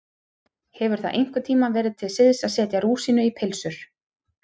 Hefur það einhvern tíma verið til siðs að setja rúsínu í pylsur?